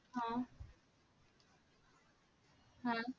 हा हा